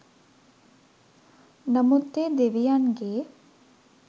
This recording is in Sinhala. නමුත් ඒ දෙවියන්ගේ